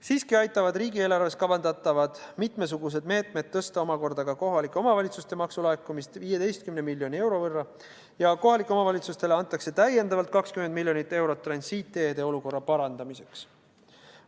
Siiski aitavad riigieelarves kavandatavad mitmesugused meetmed suurendada omakorda ka kohalike omavalitsuste maksulaekumist 15 miljoni euro võrra ja kohalikele omavalitsustele antakse täiendavalt 20 miljonit eurot transiitteede olukorra parandamiseks.